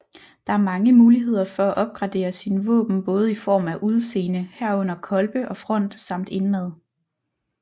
Der er mange muligheder for at opgradere sine våben både i form af udseende herunder kolbe og front samt indmad